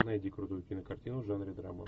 найди крутую кинокартину в жанре драмы